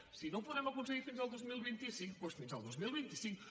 si no ho podem aconseguir fins al dos mil vint cinc doncs fins al dos mil vint cinc